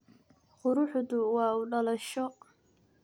Kuruxtu waa uudalasho.